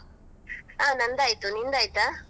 ಹಾ ನಂದಾಯ್ತು ನಿಂದಾಯ್ತಾ?